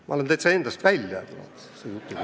Ma lähen täitsa endast välja selle jutu peale.